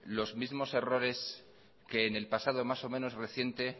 los mismo errores que en el pasado más o menos reciente